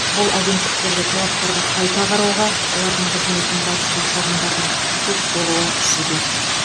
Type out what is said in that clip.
бұл агенттіктерге талаптарды қайта қарауға олардың қызметіне қатысты шағымдардың көп болуы себеп